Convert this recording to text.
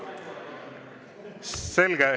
Selge.